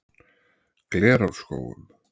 Glerárskógum